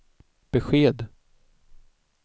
besked